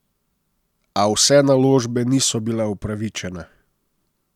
A vse naložbe niso bile upravičene.